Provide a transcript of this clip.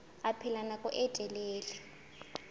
a phela nako e telele